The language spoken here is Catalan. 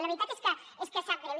la veritat és que sap greu